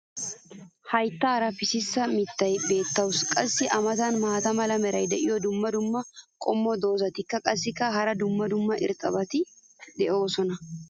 Hayttaara pississa mitiya beetawusu. qassi a matan beetiya maata mala meray diyo dumma dumma qommo dozzati qassikka hara dumma dumma irxxabati doosona.